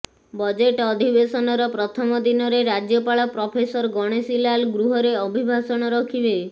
budget ଅଧିବେଶନର ପ୍ରଥମ ଦିନରେ ରାଜ୍ୟପାଳ ପ୍ରଫେସର ଗଣେଶୀଲାଲ୍ ଗୃହରେ ଅଭିଭାଷଣ ରଖିବେ